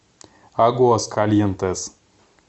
агуаскальентес